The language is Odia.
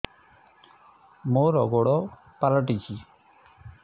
ମୋର ଗୋଡ଼ ପାଲଟିଛି